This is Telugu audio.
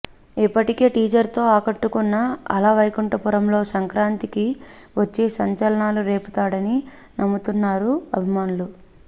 ఇప్పటికే టీజర్తో ఆకట్టుకున్న అల వైకుంఠపురములో సంక్రాంతికి వచ్చి సంచలనాలు రేపుతాడని నమ్ముతున్నారు అభిమానులు